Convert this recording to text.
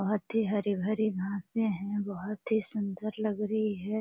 बहोत ही हरी-भरी घांसे हैं बहोत ही सुंदर लग रही है।